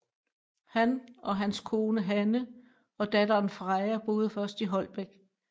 Han og hans kone Hanne og datteren Freja boede først i Holbæk